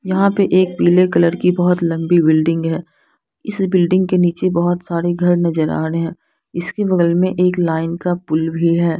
यहाँ पे एक पीले कलर की बहुत लंबी बिल्डिंग है इस बिल्डिंग के नीचे बहुत सारे घर नजर आ रहे है इसके बगल मे एक लाइन का पुलभी है।